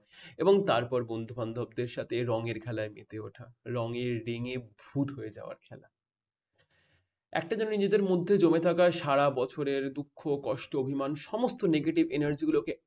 এবং তারপর বন্ধুবান্ধবদের সাথে রঙের খেলায় মেতে ওঠা । রঙের রেঙ্গে ভূত যাওয়ার খেলা। একটা জানি এদের মধ্যে জমে থাকা সারা বছরের দুঃখ কষ্ট অভিমান সমস্ত negative energy গুলোকে